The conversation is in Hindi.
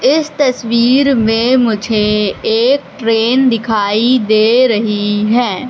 इस तस्वीर में मुझे एक ट्रेन दिखाई दे रही है।